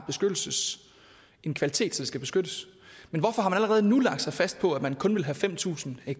en kvalitet så den skal beskyttes men hvorfor har man allerede nu lagt sig fast på at man kun vil have fem tusind ha